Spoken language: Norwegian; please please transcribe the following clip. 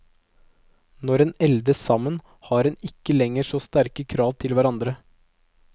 Når en eldes sammen, har en ikke lenger så sterke krav til hverandre.